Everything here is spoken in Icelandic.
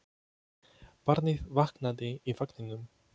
Barnið vaknaði í vagninum.